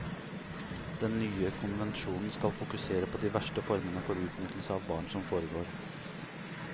Den nye konvensjonen skal fokusere på de verste formene for utnyttelse av barn som foregår.